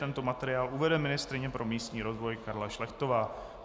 Tento materiál uvede ministryně pro místní rozvoj Karla Šlechtová.